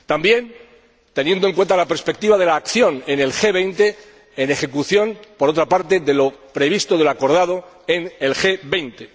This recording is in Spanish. También se ha de tener en cuenta la perspectiva de la acción en el G 20, en ejecución, por otra parte, de lo acordado en el G 20.